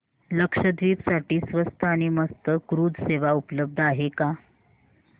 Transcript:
लक्षद्वीप साठी स्वस्त आणि मस्त क्रुझ सेवा उपलब्ध आहे का